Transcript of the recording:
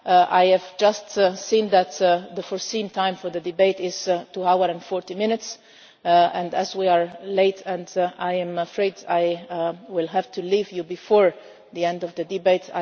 for now. I have just seen that the scheduled time for the debate is two hours and 40 minutes and as we are late, I am afraid I will have to leave you before the end of the